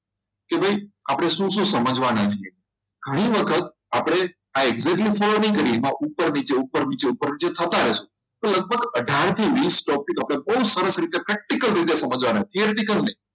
કે ભાઈ આપણે શું શું સમજવાના છે ઘણી વખત આપણે follow ની કરીએ અથવા ઉપર નીચે ઉપર નીચે થતા રહેશે તો લગભગ અઢાર થી વીસ stock stick બહુ સરસ રીતે practical રીતે સમજવાના છે theory નહીં